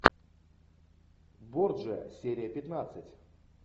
борджиа серия пятнадцать